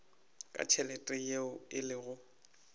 ka tšhelete yeo e lego